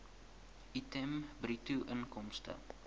item bruto inkomste